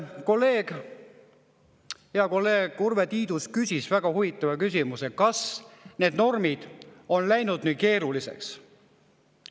Hea kolleeg Urve Tiidus küsis väga huvitava küsimuse: kas need normid on läinud nii keeruliseks?